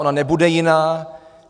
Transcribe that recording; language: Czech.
Ona nebude jiná.